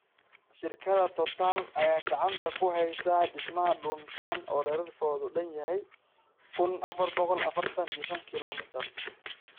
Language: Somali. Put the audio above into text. Shirkadda Total ayaa gacanta ku haysa dhismaha dhuuntan oo dhererkeedu dhan yahay kuun afaar boqol afartan iyo shaan kilomitar kilomitar